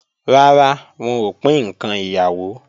Rara, wọn ò pín ǹkan ìyàwó